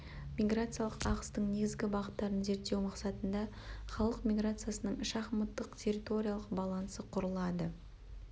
миграциялық ағыстың негізгі бағыттарын зерттеу мақсатында халық миграциясының шахматтық территориялық балансы құрылады